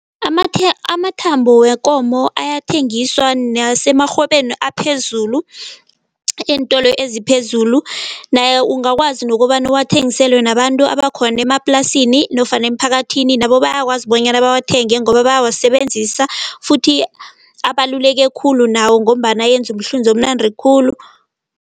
Amathambo wekomo ayathengiswa nasemarhwebeni aphezulu, eentolo eziphezulu. Naye ungakwazi nokobana uwangisele nabantu abakhona emaplasini nofana emiphakathini nabo bayakwazi bonyana bawathenge ngoba bayawasebenzisa futhi, abaluleke khulu nawo ngombana enza umhlunzi omnandi khulu.